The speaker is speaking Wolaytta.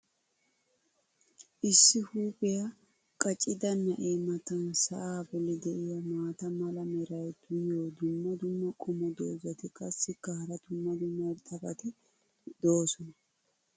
issi huuphphiya qaccida na'ee matan sa'aa boli diya maata mala meray diyo dumma dumma qommo dozzati qassikka hara dumma dumma irxxabati doosona.